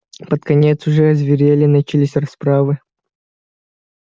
под конец уже озверели начались расправы